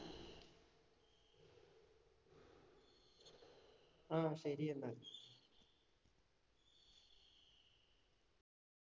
ആ ശരി എന്നാ